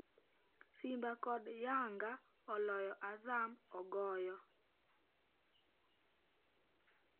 Simba kod Yanga oloyo Azam ogoyo